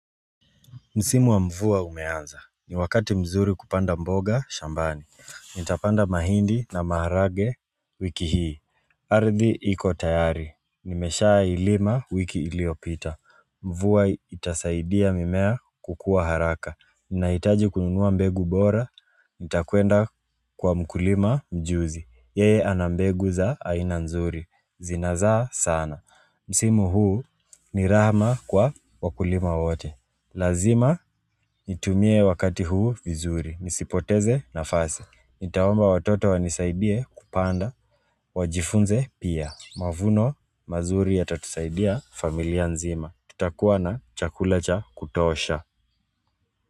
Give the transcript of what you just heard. Msimu wa mvua umeanza. Ni wakati mzuri kupanda mboga shambani. Nitapanda mahindi na maharage wiki hii. Ardhi iko tayari. Nimeshailima wiki iliyopita. Mvua itasaidia mimea kukua haraka. Ninahitaji kununua mbegu bora. Nitakuenda kwa mkulima mjuzi. Yeye ana mbegu za aina nzuri. Zinazaa sana. Msimu huu ni rahama kwa wakulima wote. Lazima nitumie wakati huu vizuri. Nisipoteze nafasi. Nitaomba watoto wanisaidie kupanda. Wajifunze pia. Mavuno mazuri yatatusaidia familia nzima. Tutakuwa na chakula cha kutosha.